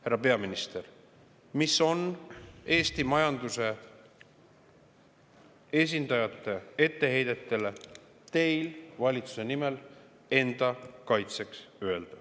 Härra peaminister, mis on teil valitsuse nimel enda kaitseks öelda Eesti majanduse esindajate etteheidetele?